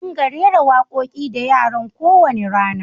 Ƙa dinga rera wa ƙoki da yaran ƙo wani rana!